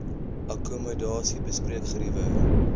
akkommodasie bespreek geriewe